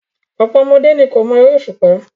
Ọ̀pọ̀ ọmọdé ni kò mọ eré òṣùpá.